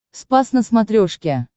спас на смотрешке